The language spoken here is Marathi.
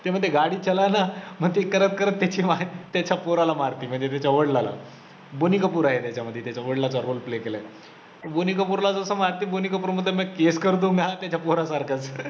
ते म्हणते गाडी चलाना मग ते करत करत त्याची वाट त्याच्या पोरला मारते, म्हणजे त्याच्या वडिलांना बोनी कपूर आहे त्याच्यामधी त्याच्या वडिलांचा role play बोनी कपूरला जसं मारते, बोनी कपूर म्हणतो मे case कर दुंगा त्याच्या पोरासारखचं